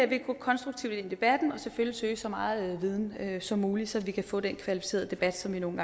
vil gå konstruktivt ind i debatten og selvfølgelig søge så meget viden som muligt så vi kan få den kvalificerede debat som vi nogle